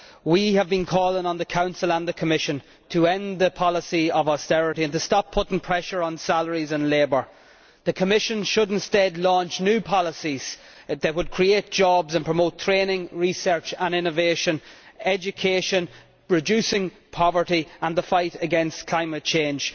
We have been calling on the Council and the Commission to end the policy of austerity and to stop putting pressure on salaries and labour. The Commission should instead launch new policies which would create jobs and promote training, research and innovation, education, reducing poverty, and the fight against climate change.